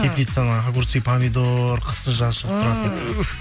теплицаны огурцы помидор қысы жазы шығып тұратын туһ